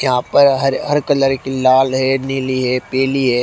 यहां पर हर हर कलर की लाल है नीली है पीली है।